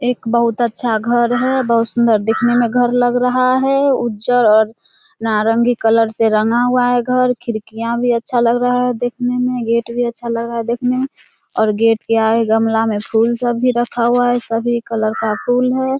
एक बहुत अच्छा घर है बहुत सुंदर दिखने में घर लग रहा है उज्जर और नारंगी कलर से रंगा हुआ है खिड़कियां भी अच्छा लग रहा है देखने में गेट भी अच्छा लग रहा है देखने में और गेट के आगे गमला में फूल सब भी रखा हुआ है सभी कलर का फूल है।